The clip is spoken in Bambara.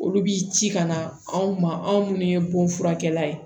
Olu bi ci ka na anw ma anw ye bonfurakɛla ye